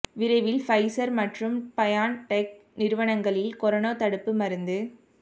விரைவில் ஃபைசர் மற்றும் பயான்டெக் நிறுவனங்களின் கொரோனா தடுப்பு மருந்து